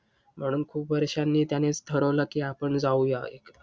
म्हणून खूप वर्षांनी त्यांनीच ठरवलं की आपण जाऊया.